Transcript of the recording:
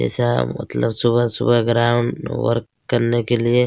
ऐसा मतलब सुबह- सुबह ग्राउंड वर्क करने के लिए-